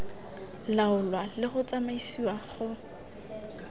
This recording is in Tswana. laolwa le go tsamaisiwa go